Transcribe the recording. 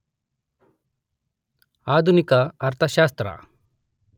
ಆಧುನಿಕ ಅರ್ಥಶಾಸ್ತ್ರ